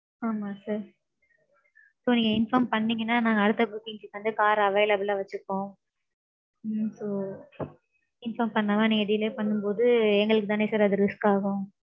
ஆமாம் sir. So நீங்க inform பண்ணீங்கநான் நாங்க அடுத்த booking க்கு வந்து car available ல வச்சிருப்போம். ம்ம் so, inform பன்னாம நீங்க delay பன்னும் போது எங்களுக்கு தானே sir அது risk ஆகும்.